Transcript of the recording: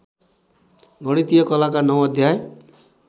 गणितीय कलाका नौ अध्याय